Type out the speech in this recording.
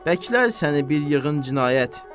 Bəklər səni bir yığın cinayət.